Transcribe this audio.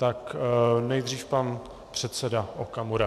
Tak nejdřív pan předseda Okamura.